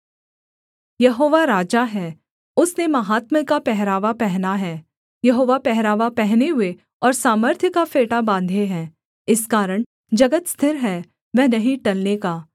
यहोवा राजा है उसने माहात्म्य का पहरावा पहना है यहोवा पहरावा पहने हुए और सामर्थ्य का फेटा बाँधे है इस कारण जगत स्थिर है वह नहीं टलने का